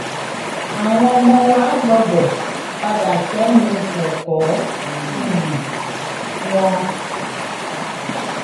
àwọn ọmọ wa gbọ́dọ̀ padà sẹ́nu ẹ̀kọ́ um wọn